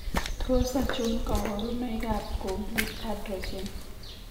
Tos achon kabarunaik ab Complete androgen ?